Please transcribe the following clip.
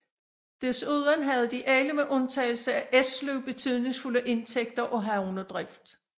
Desuden havde de alle med undtagelse af Esløv betydningsfulde indtægter af havnedrift